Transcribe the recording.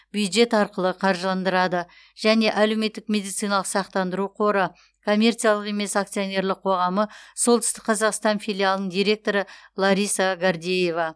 бюджет арқылы қаржыландырады және әлеуметтік медициналық сақтандыру қоры коммерциялық емес акционерлік қоғамы солтүстік қазақстан филиалының директоры лариса гордеева